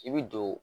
I bi don